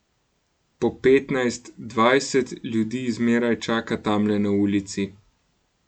Po petnajst, dvajset ljudi zmeraj čaka tamle na ulici.